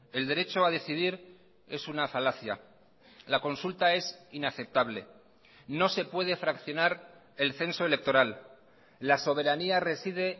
el derecho a decidir es una falacia la consulta es inaceptable no se puede fraccionar el censo electoral la soberanía reside